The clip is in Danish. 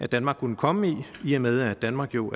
danmark kan komme i i og med at danmark jo